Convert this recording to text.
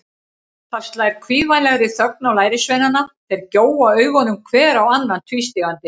Það slær kvíðvænlegri þögn á lærisveinana, þeir gjóa augunum hver á annan tvístígandi.